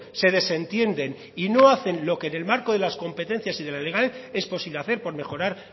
se desentienden y no hacen lo que en el marco de las competencias y de lo legal es posible hacer por mejorar